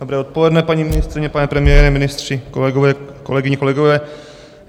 Dobré odpoledne, paní ministryně, pane premiére, ministři, kolegyně, kolegové.